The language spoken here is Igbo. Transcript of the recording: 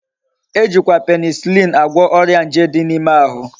Ejikwa penicillin agwo oria nje di na ime ahu